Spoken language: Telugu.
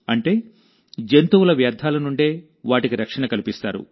అంటేజంతువుల వ్యర్థాల నుండే వాటికి రక్షణ కల్పిస్తారు